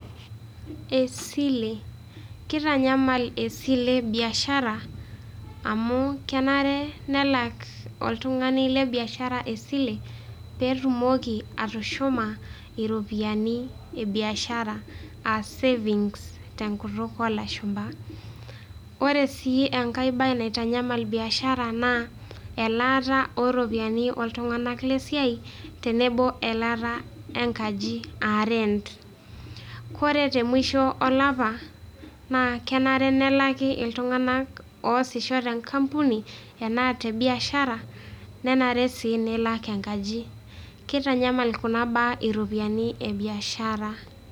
Esile. Kitanyamal esile biashara, amu kenare nelak oltung'ani le biashara esile, petumoki atushuma iropiyiani ebiashara, ah savings tenkutuk olashumpa. Ore si enkae bae naitanyamal biashara, naa elaata oropiyiani oltung'anak lesiai, tenebo elaata enkaji, ah rent. Ore temusho olapa, naa kenare nelaki iltung'anak oosisho tenkampuni, enaa tebiashara, nenare si nilak enkaji. Kitanyamal kuna baa iropiyiani ebiashara.